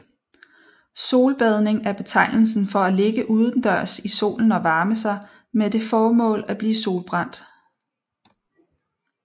Solbadning er betegnelsen for at ligge udendørs i solen og varme sig med det formål at blive solbrændt